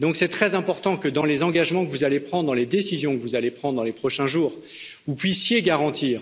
Donc c'est très important que, dans les engagements que vous allez prendre, dans les décisions que vous allez prendre dans les prochains jours, vous puissiez garantir